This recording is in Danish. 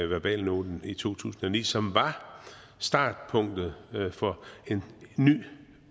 verbalnoten i to tusind og ni som var startpunktet for en ny